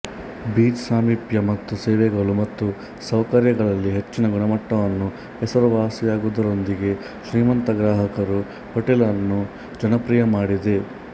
beach ಸಾಮೀಪ್ಯ ಮತ್ತು ಸೇವೆಗಳು ಮತ್ತು ಸೌಕರ್ಯಗಳಲ್ಲಿ ಹೆಚ್ಚಿನ ಗುಣಮಟ್ಟವನ್ನು ಹೆಸರುವಾಸಿಯಾಗುವುದರೊಂದಿಗೆ ಶ್ರೀಮಂತ ಗ್ರಾಹಕರು ಹೋಟೆಲ್ ಅನ್ನು ಜನಪ್ರಿಯ ಮಾಡಿದೆ